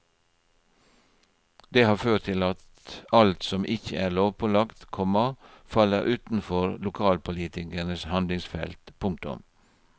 Det har ført til at alt som ikke er lovpålagt, komma faller utenfor lokalpolitikernes handlingsfelt. punktum